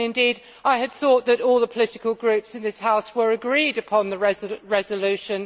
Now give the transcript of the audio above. Indeed, I had thought that all the political groups in this House were agreed upon the resolution.